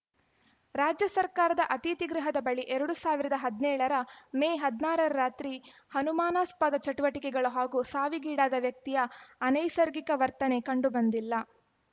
ರಾಜ್ಯ ಸರ್ಕಾರದ ಅತಿಥಿಗೃಹದ ಬಳಿ ಎರಡ್ ಸಾವಿರದ ಹದಿನೇಳರ ಮೇ ಹದಿನಾರರ ರಾತ್ರಿ ಅನುಮಾನಾಸ್ಪದ ಚಟುವಟಿಕಗಳು ಹಾಗೂ ಸಾವಿಗಿಡಾದ ವ್ಯಕ್ತಿಯ ಅನೈಸರ್ಗಿಕ ವರ್ತನೆ ಕಂಡು ಬಂದಿಲ್ಲ